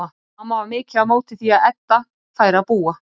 Mamma var mikið á móti því að Edda færi að búa.